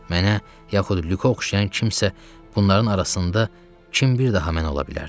Mənə, yaxud Lükə oxşayan kimsə, bunların arasında kim bir daha mən ola bilərdi?